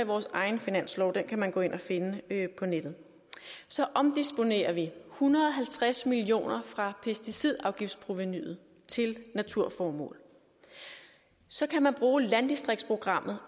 vores egen finanslov den kan man gå ind at finde på nettet og så omdisponerer vi en hundrede og halvtreds million kroner fra pesticidafgiftsprovenuet til naturformål så kan man også bruge landdistriktsprogrammet